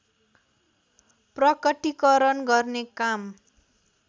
प्रकटिकरण गर्ने काम